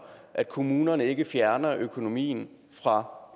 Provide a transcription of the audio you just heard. at kommunerne ikke fjerner økonomien fra